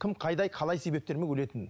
кім қалай себептермен өлетінін